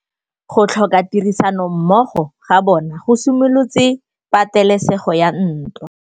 Go tlhoka tirsanommogo ga bone go simolotse patêlêsêgô ya ntwa.